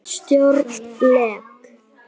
Stjórn LEK